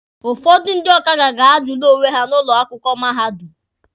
Ụfọdụ ndị ọkada ga-azụlị onwe ha n'ụlọ akwụkwọ mahadum.